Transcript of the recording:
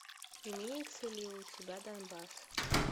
имеется ли у тебя донбасс